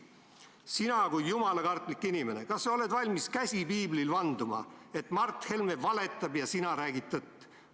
Sina kui jumalakartlik inimene, kas sa oled valmis, käsi piiblil, vanduma, et Mart Helme valetab ja sina räägid tõtt?